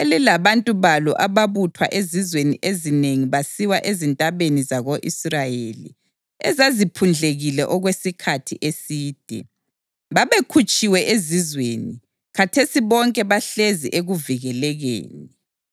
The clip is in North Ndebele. elilabantu balo ababuthwa ezizweni ezinengi basiwa ezintabeni zako-Israyeli ezaziphundlekile okwesikhathi eside. Babekhutshiwe ezizweni, khathesi bonke bahlezi ekuvikelekeni.